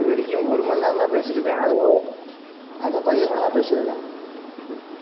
இது வரைக்கும், ஒரு மணி நேரம்தான் பேசிருக்கேன் அதுவும், அதுவும் பையன் கூட தான் பேசிருக்கேன்.